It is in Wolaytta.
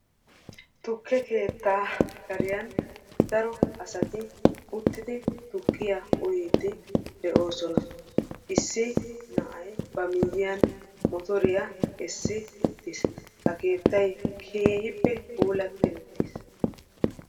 Tukke keettaa kariyan daro asati uttidi tukkiya uyiiddi de'oosona. Issi na'ay ba miiyyiyan motoriya essi uttiis. Ha keettay keehippe puulatti ittis.